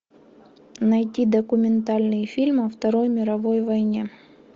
найти документальный фильм о второй мировой войне